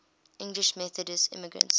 english methodist immigrants